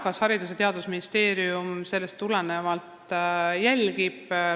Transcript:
Kas Haridus- ja Teadusministeerium sellest tulenevalt olukorda jälgib?